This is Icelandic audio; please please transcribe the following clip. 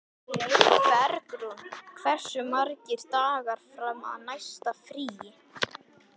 Bergrún, hversu margir dagar fram að næsta fríi?